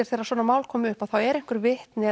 þegar svona mál koma upp þá eru einhver vitni